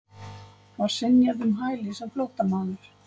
Var synjað um hæli sem flóttamaður